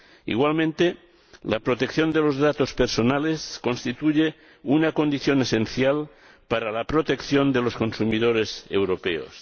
Igualmente, la protección de los datos personales constituye una condición esencial para la protección de los consumidores europeos.